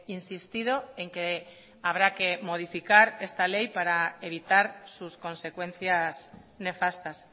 insistido en que habrá que modificar esta ley para evitar sus consecuencias nefastas